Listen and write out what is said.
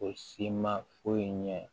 O si ma foyi ɲɛ